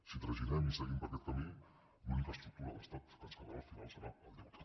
si traginem i seguim per aquest camí l’única estructura d’estat que ens quedarà al final serà el deute